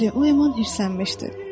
Bəli, o əman hirslənmişdi.